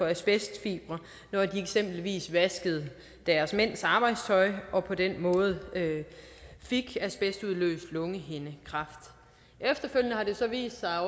asbestfibre når de eksempelvis vaskede deres mænds arbejdstøj og på den måde fik asbestudløst lungehindekræft efterfølgende har det så vist sig at